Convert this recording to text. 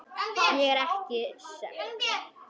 Ég er ekki sek.